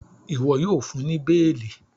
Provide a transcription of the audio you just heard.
iwọ yíò fún ní beeli!